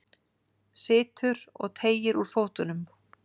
Situr og teygir úr fótunum.